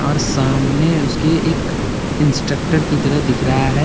और सामने उसके एक इंस्ट्रक्टर की तरह दिख रहा हैं।